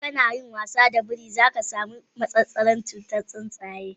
Idan kana yin wasa da biri, za ka kamu da cutar massasaran tsuntsaye.